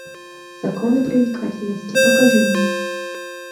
законы привлекательности покажи мне